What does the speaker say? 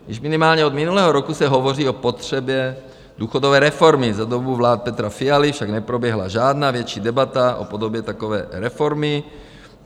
Již minimálně od minulého roku se hovoří o potřebě důchodové reformy, za dobu vlády Petra Fialy však neproběhla žádná větší debata o podobě takové reformy.